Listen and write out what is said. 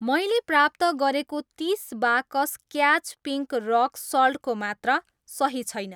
मैले प्राप्त गरेको तिस बाकस क्याच पिङ्क रक सल्टको मात्रा सही छैन।